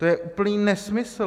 To je úplný nesmysl.